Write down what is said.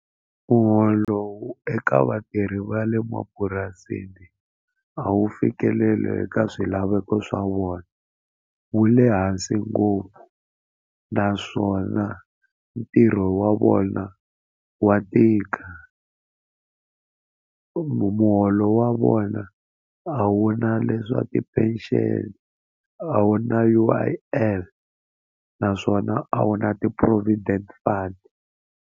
Muholo wu eka vatirhi va le mapurasini a wu fikeleli eka swilaveko swa vona wu le hansi ngopfu naswona ntirho wa vona wa tika muholo wa vona a wu na leswa ti-pension a wu na U_I_F naswona a wu na ti-provident fund.